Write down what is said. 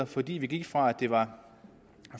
fordi vi gik fra at det var